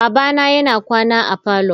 Babana yana kwana a parlour.